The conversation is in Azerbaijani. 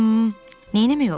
Hımm, neynəmək olar?